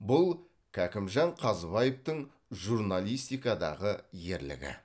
бұл кәкімжан қазыбаевтың журналистикадағы ерлігі